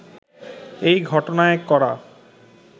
এই ঘটনায় করা